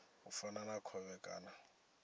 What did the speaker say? u fana na khovhe kana